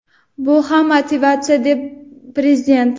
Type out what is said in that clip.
Bu ham motivatsiya, dedi prezident.